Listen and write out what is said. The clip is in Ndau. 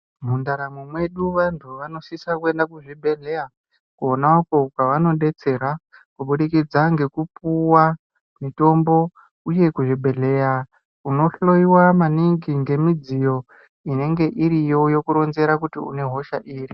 Mundaramo mwedu vantu vanosisa kuenda kuzvibhedhleya, kwona uko kwavanodetsera kubudikidza ngekupuwa mitombo, uye kuzvibhedhleya, unohloiwa maningi ngemidziyo inenge iriyo, yokuronzera kuti une hosha iri.